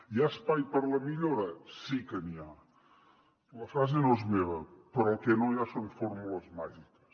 hi ha espai per la millora sí que n’hi ha la frase no és meva però el que no hi ha són fórmules màgiques